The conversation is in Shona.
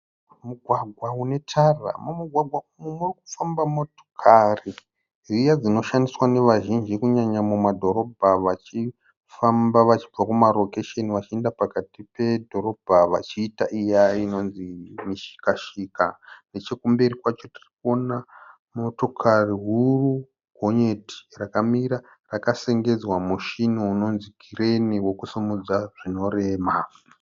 Mugwagwa une tara. Mumugwaga umu muri kufamba motokari dziya dzinoshandiswa nevazhinji kunyanya mumadhorobha vachifamba vachibva kumarokesheni vachienda pakati pedhorobha vachiita iya inonzi mishika shika. Nechekumberi kwacho tiri kuona motokari huru gonyeti rakamira rakasengedzwa mushini unonzi kireni wekusimudza zvinorema.